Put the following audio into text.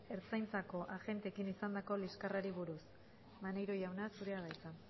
ertzaintzako agenteekin izandako liskarrari buruz maneiro jauna zurea da hitza